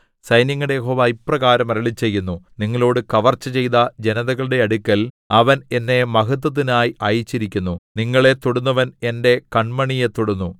സൈന്യങ്ങളുടെ യഹോവ ഇപ്രകാരം അരുളിച്ചെയ്യുന്നു നിങ്ങളോടു കവർച്ച ചെയ്ത ജനതകളുടെ അടുക്കൽ അവൻ എന്നെ മഹത്വത്തിനായി അയച്ചിരിക്കുന്നു നിങ്ങളെ തൊടുന്നവന്‍ എന്റെ കണ്മണിയെ തൊടുന്നു